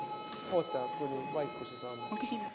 Kas ma vastan?